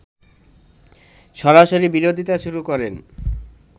সরাসরি বিরোধিতা শুরু করেন